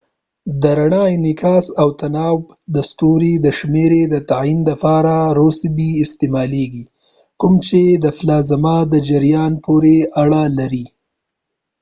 د رڼا انعکاس او تناوب د ستوري د rossby شمیرې د تعین لپاره استعمالیږي کوم چې د پلازما د جریان پورې اړه لري